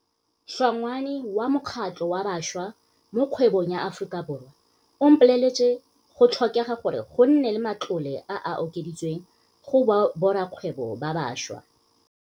Hlongwane wa mokgatlho wa Bašwa mo Kgwebong ya Aforika Borwa a mpoleletse, go tlhokega gore go nne le matlole a a okeditsweng go borakgwebo ba bašwa.